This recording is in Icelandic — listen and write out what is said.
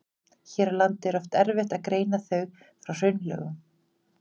Hér á landi er oft erfitt að greina þau frá hraunlögum.